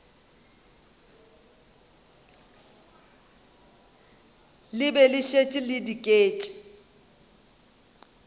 be le šetše le diket